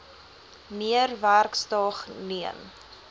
meer werksdae neem